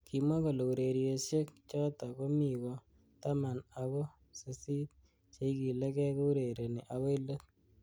Kimwa kole urerieshek chotok komi ko taman ako sisit cheikilekei kourereni akoi let.